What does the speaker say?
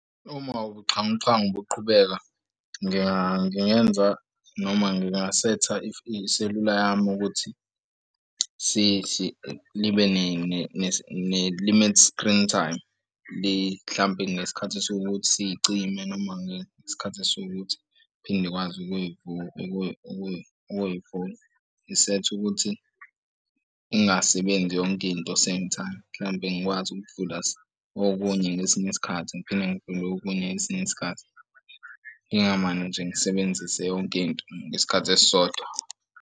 Uma ubuxhwanguxhwangu buqhubeka ngingenza noma ngingasetha iselula yami ukuthi libe ne-limit screen time lihlambe ngesikhathi esiwukuthi sicime noma ngesikhathi esiwukuthi iphinde ikwazi ukuyivula. Ngisethe ukuthi ungasebenzi yonke into same time mhlampe ngikwazi ukuvula okunye ngesinye isikhathi ngiphinde ngivule okunye ngesinye isikhathi. Ngingamane nje ngisebenzise yonkinto ngesikhathi esisodwa.